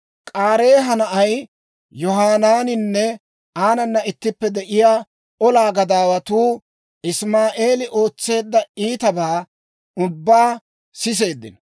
K'aareeha na'ay Yohanaaninne aanana ittippe de'iyaa olaa gadaawatuu Isimaa'eeli ootseedda iitabaa ubbaa siseeddino.